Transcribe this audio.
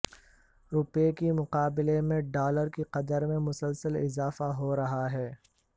روپے کے مقابلے میں ڈالر کی قدر میں مسلسل اضافہ ہو رہا ہے